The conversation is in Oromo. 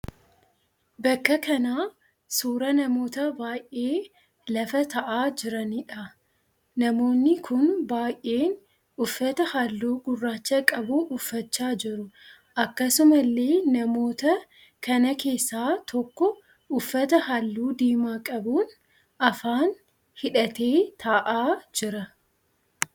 Bakka kana suuraa namoota baay'ee lafa taa'aa jiraniidha. Namoonni kun baay'een uffata halluu gurraacha qabu uffachaa jiru. Akkasumallee namoota kana keessaa tokko uffata halluu diimaa qabuun afaan hidhatee ta'aa jira.